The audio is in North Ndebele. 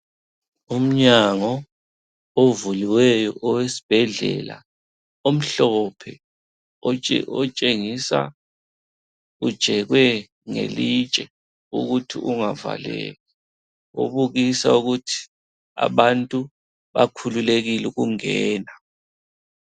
Umnyango ovuliweyo owesibhedlela omhlophe otshengisa ujekwe ngelitshe ukuthi ungavaleki obukisa ukuthi abantu bakhululekile ukungena.